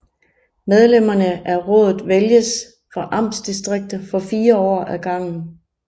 Medlemmerne af rådet vælges fra amtsdistrikter for fire år ad gangen